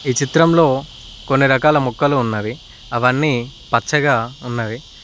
ఈ చిత్రంలో కొన్ని రకాల మొక్కలు ఉన్నవి అవి అన్ని పచ్చగా ఉన్నవి.